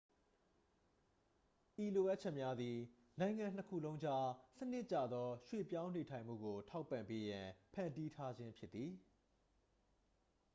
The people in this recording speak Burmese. ဤလိုအပ်ချက်များသည် နိုင်ငံနှစ်ခုလုံးကြား စနစ်ကျသော ရွှေ့ပြောင်းနေထိုင်မှုကို ထောက်ပံ့ပေးရန် ဖန်တီးထားခြင်းဖြစ်သည်